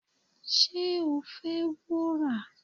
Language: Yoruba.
ṣé o fẹ́ wúrà?